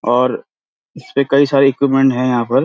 और इसपे कई सारी इक्विपमेंट हैं यहाँ पर।